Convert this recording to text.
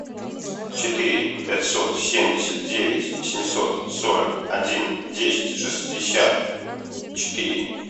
четыре пятьсот семьдесят девять семьсот сорок один десять шестьдесят четыре